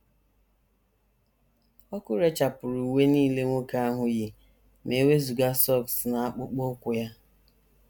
Ọkụ rechapụrụ uwe nile nwoke ahụ yi ma e wezụga sọks na akpụkpọ ụkwụ ya.